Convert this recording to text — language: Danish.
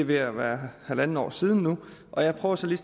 ved at være halvandet år siden og jeg prøver så lige